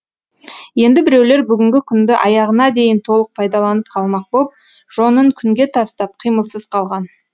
енді біреулер бүгінгі күнді аяғына дейін толық пайдаланып қалмақ боп жонын күнге тастап қимылсыз қалған